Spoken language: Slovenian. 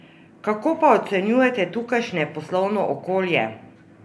Kako pa ocenjujete tukajšnje poslovno okolje?